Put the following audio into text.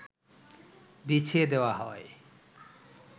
বিছিয়ে দেওয়া হয়